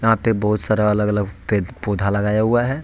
यहाँ पे बहुत सारा अलग अलग पेड़ पौधा लगाया हुआ है।